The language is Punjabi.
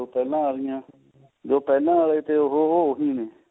ਪਹਿਲਾਂ ਆਲਿਆਂ ਜੋ ਪਹਿਲਾਂ ਤੇ ਉਹ ਉਹ ਪਹਿਲਾਂ ਹੀ ਨੇ